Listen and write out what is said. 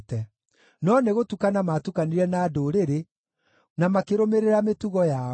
no nĩgũtukana maatukanire na ndũrĩrĩ, na makĩrũmĩrĩra mĩtugo yao.